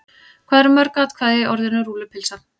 Hvað eru mörg atkvæði í orðinu rúllupylsa?